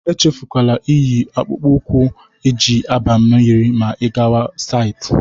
Echefukwala inyi akpụkpụ ụkwụ e ji aba mmiri ma ị gawa saịtị